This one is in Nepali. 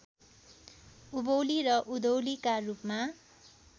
उभौली र उधौलीका रूपमा